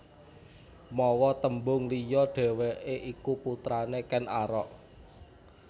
Mawa tembung liya dhèwèké iku putrané Ken Arok